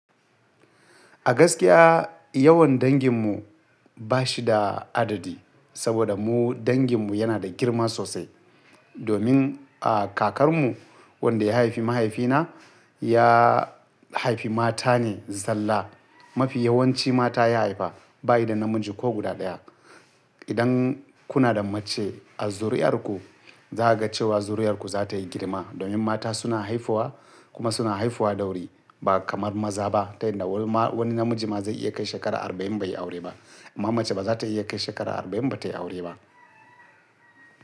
A gaskiya yawan danginmu ba shi da adadi, saboda mu danginmu yana da girma sosai. Domin, a kakarmu wanda ya haifi mahaifina, ya haifi mata ne zallah. Mafi yawanci mata ya haifa, ba yi da namiji ko guda ɗaya. Idan kuna da mace a zuriyarku, za a ga cewa zuriyarku za ta yi girma domin mata suna haifuwa kuma suna haifuwa da wuri ba kamar maza ba. Ta yinda wani namiji ma zai iya kai shekara arba'in bai yi aure ba. Amma mace ba za ta iya kai shekara arba'in ba ta yi aure ba.